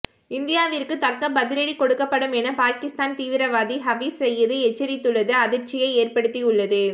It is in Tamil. இந்தியாவிற்கு தக்க பதிலடி கொடுக்கப்படும் என பாகிஸ்தான் தீவிரவாதி ஹபீஸ் சயீது எச்சரித்துள்ளது அதிர்ச்சியை ஏற்படுத்தியுள்ளது